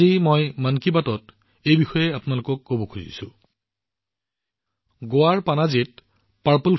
আজি মন কী বাতত মই এইবিষয়ে আপোনালোক সকলোৰে সৈতে ভাগবতৰা কৰিব বিচাৰো